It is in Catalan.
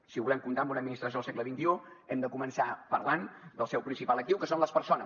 si volem comptar amb una administració del segle xxi hem de començar parlant del seu principal actiu que són les persones